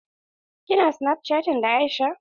Ki na snapchatting da Aisha?